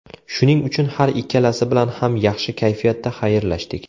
Shuning uchun har ikkalasi bilan ham yaxshi kayfiyatda xayrlashdik.